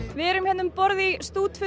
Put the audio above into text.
við erum hér um borð í